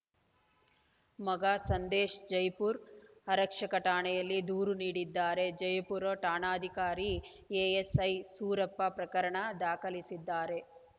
ಮಗ ಸಂದೇಶ್‌ ಜಯಪುರ ಆರಕ್ಷಕ ಠಾಣೆಯಲ್ಲಿ ದೂರು ನೀಡಿದ್ದಾರೆ ಜಯಪುರ ಠಾಣಾಧಿಕಾರಿ ಎಎಸ್‌ಐ ಸೂರಪ್ಪ ಪ್ರಕರಣ ದಾಖಲಿಸಿದ್ದಾರೆ